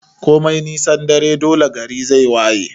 Komai nisan dare dole gari zai waye